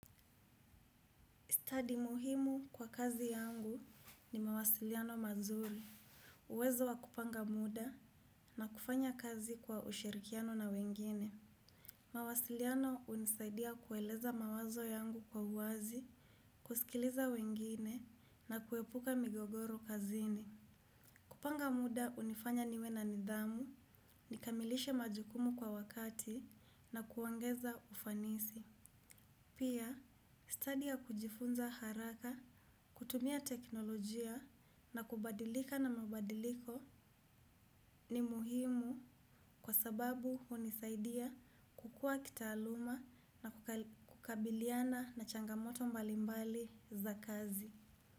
Study muhimu kwa kazi yangu ni mawasiliano mazuri. Uwezo wa kupanga muda na kufanya kazi kwa ushirikiano na wengine. Mawasiliano hunisaidia kueleza mawazo yangu kwa uwazi, kusikiliza wengine na kuepuka migogoro kazini. Kupanga muda hunifanya niwe na nidhamu, nikamilishe majukumu kwa wakati na kuongeza ufanisi. Pia, stadi ya kujifunza haraka, kutumia teknolojia na kubadilika na mabadiliko ni muhimu kwa sababu hunisaidia kukua kitaaluma na kukabiliana na changamoto mbalimbali za kazi.